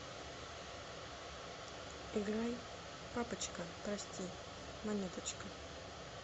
играй папочка прости монеточка